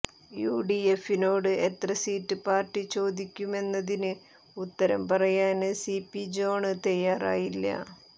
U D എഫിനോട് എത്ര seat party ചോദിക്കുമെന്നതിന് ഉത്തരം പറയാന് സി പി ജോണ് തയ്യാറായില്ല